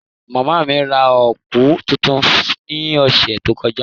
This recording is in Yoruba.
Mama mi ra kọọpu tuntun ni ọsẹ to kọja.